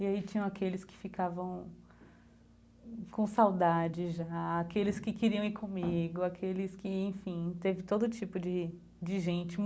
E aí tinham aqueles que ficavam com saudade já, aqueles que queriam ir comigo, aqueles que, enfim, teve todo tipo de de gente.